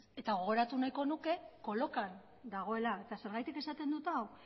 eta gogoratu nahiko nuke kolokan dagoela eta zergatik esaten dut hau